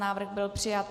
Návrh byl přijat.